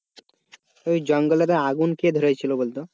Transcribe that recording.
ওই জঙ্গলটাতে আগুন কে ধরাই ছিল বলতো?